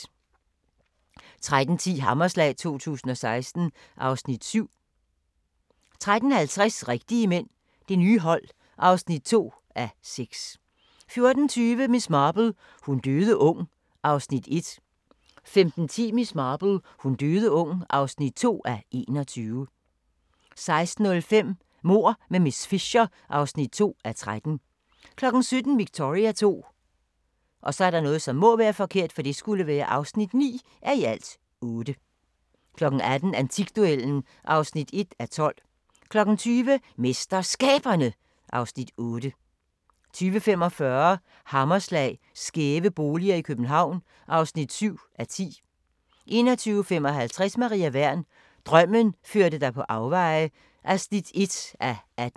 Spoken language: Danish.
13:10: Hammerslag 2016 (Afs. 7) 13:50: Rigtige mænd – Det nye hold (2:6) 14:20: Miss Marple : Hun døde ung (1:21) 15:10: Miss Marple: Hun døde ung (2:21) 16:05: Mord med miss Fisher (2:13) 17:00: Victoria II (9:8) 18:00: Antikduellen (1:12) 20:00: MesterSkaberne (Afs. 8) 20:45: Hammerslag - skæve boliger i København (7:10) 21:55: Maria Wern: Drømmen førte dig på afveje (1:18)